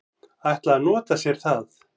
ætla að nota sér það.